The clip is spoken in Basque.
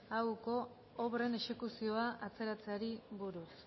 auoko obren exekuzioko atzerapenari buruz